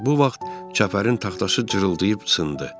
Bu vaxt çəpərin taxtası cırıldayıb sındı.